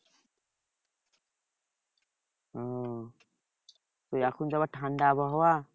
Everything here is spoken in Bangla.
ও এখন তো আবার ঠান্ডা আবহাওয়া